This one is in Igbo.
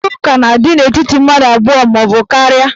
Mkparitaụka na-adị n'etiti mmadụ abụọ maọbụ karịa.